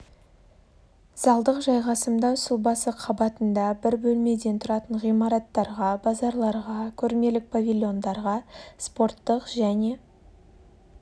залдық жайғасымдау сұлбасы қабатында бір бөлмеден тұратын ғимараттарға базарларға көрмелік павильондарға спорттық және